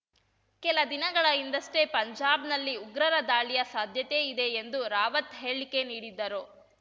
ಕೆಲ ದಿನಗಳ ಹಿಂದಷ್ಟೇ ಪಂಜಾಬ್‌ನಲ್ಲಿ ಉಗ್ರರ ದಾಳಿಯ ಸಾಧ್ಯತೆ ಇದೆ ಎಂದು ರಾವತ್‌ ಹೇಳಿಕೆ ನೀಡಿದ್ದರು